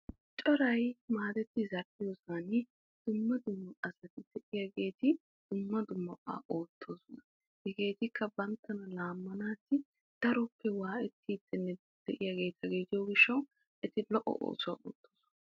Coray maadetti zal'iyogan dumma dumma oosuwa oottosona. Hegeetikka banttana laamanawu keehi lo'o oosuwa ootosonna.